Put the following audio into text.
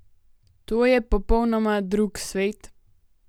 To je popolnoma drug svet?